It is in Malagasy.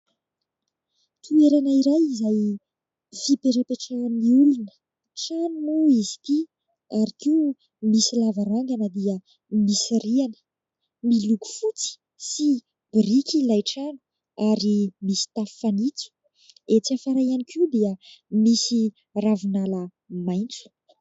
Toerana iray izay fipetrapetran' ny olona : trano moa izy ity ary koa misy lavarangana dia misy rihana. Miloko fotsy sy biriky ilay trano ary misy tafo fanitso ; etsy afara ihany koa dia misy ravinala maitso.